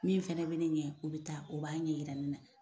Min fɛnɛ be ne ɲɛ, o be taa o b'a ɲɛ yira ne na.